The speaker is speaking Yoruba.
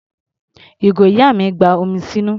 Ìgò ìyá mi gba omi sínú.